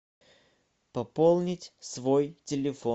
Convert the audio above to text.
пополнить свой телефон